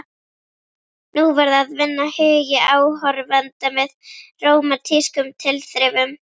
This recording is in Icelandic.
Nú varð að vinna hugi áhorfenda með rómantískum tilþrifum.